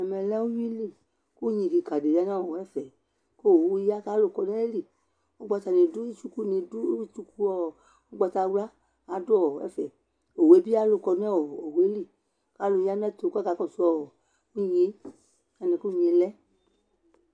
ɛmɛ lɛ ʋwili kʋ ʋnyi kikaa di yanʋ ɛƒɛ kʋ ɔwʋ ya kʋ alʋ kɔnʋ ayili ɔgbata nidʋ tsukʋɔ ɔgbatawla adʋɔ ɛƒɛ ɔwʋɛ bi alʋ kɔnɛɔ ɔwʋɛli, alʋ yanʋ ɛtʋ kʋ akakɔsʋɔ inyɛ, alɛnɛ inyɛ lɛ